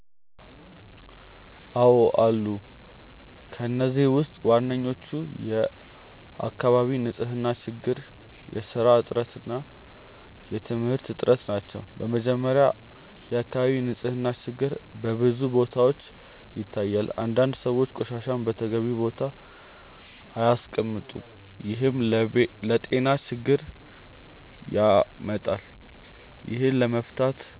አዎን አሉ። ከእነዚህ ውስጥ ዋናዎቹ የአካባቢ ንፅህና ችግር፣ የስራ እጥረት እና የትምህርት እጥረት ናቸው። በመጀመሪያ፣ የአካባቢ ንፅህና ችግር በብዙ ቦታዎች ይታያል። አንዳንድ ሰዎች ቆሻሻን በተገቢው ቦታ አያስቀምጡም፣ ይህም ለጤና ችግር ያመጣል። ይህን ለመፍታት